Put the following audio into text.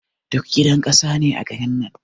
Duk gidan ƙasa ne a garin nan.